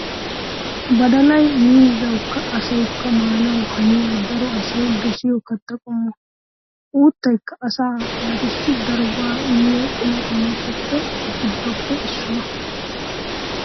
Badalay miizzawukka asawukka maanawu haniya, daro asay dosiyo kattaa qommo. Uuttaykka asaa naatussi daro go"aa immiya qumaa qommotu giddoppe issuwaa .